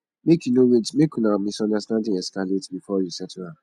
make you no wait make una misunderstanding escalate before you settle am